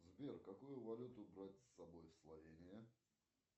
сбер какую валюту брать с собой в словению